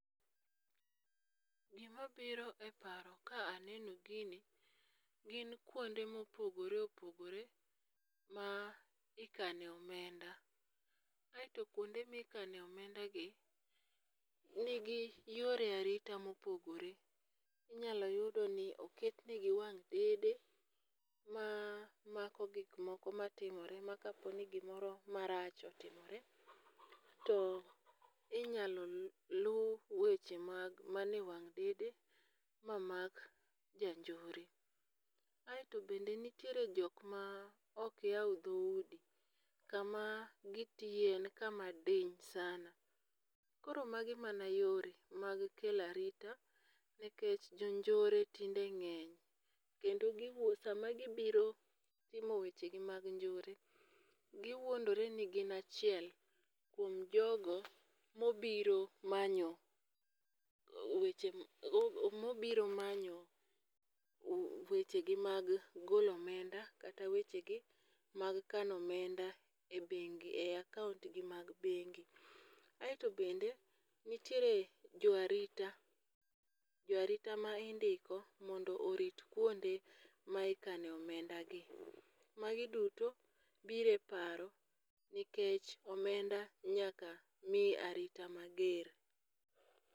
Gima biro e paro ka aneno gini gin kuonde mopogore opogore ma ikane omenda. Aeto kuonde mikane omenda gi nigi yore arita mopogore inyalo yudo ni oketnegi wang' dede ma mako gik moko matimore ma kapo ni gimoro marach otimore to inyalo luw weche mar mane wang' dede mamak janjore. Aeto bende nitiere jok ma ok yaw dhoudi kama gitiye en kama din sana ,koro magi mana yore mag kelo arita nikech jonjore tinde ng'eny kendo giwuo sama gibiro timo weche gi mag njore giwuondore ni gin achiel kuom jogo mobiro manyo weche mobiro manyo weche gi mag golo omenda kata weche gi mag kano omenda e bengi e akaunt gi mag bengi. Aeto bende nitiere jo arita jo arita ma indiko mondo orit kuonde ma ikane omenda gi, magi duto bire paro nikech omenda nyaka mi arita mager.